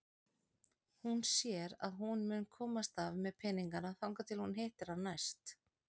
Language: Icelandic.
Hún sér að hún mun komast af með peningana þangað til hún hittir hann næst.